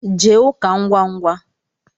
Jee ụka ngwa ngwa